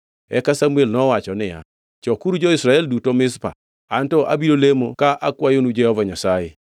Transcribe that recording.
Eka Samuel nowacho niya, “Chokuru jo-Israel duto Mizpa, anto abiro lemo ka akwayonu Jehova Nyasaye.”